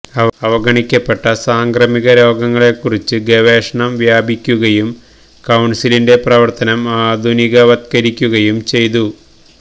അവഗണിക്കപ്പെട്ട സാംക്രമിക രോഗങ്ങളെക്കുറിച്ച് ഗവേഷണം വ്യാപിപ്പിക്കുകയും കൌൺസിലിന്റെ പ്രവർത്തനം ആധുനികവത്കരിക്കുകയും ചെയ്തു